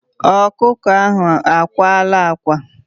Ọkụkọ ahụ akwala ákwá.